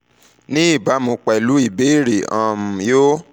ní ìbámu pẹ̀lú ìbéèrè um yo